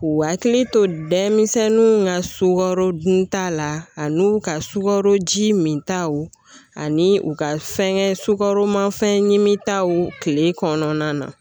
U hakili to denmisɛnninw ka sukaro dunta la ani u ka sukaro ji min taw ani u ka fɛnkɛ sukaromafɛn ɲimi taw tile kɔnɔna na